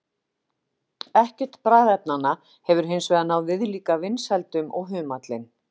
Ekkert bragðefnanna hefur hins vegar náð viðlíka vinsældum og humallinn.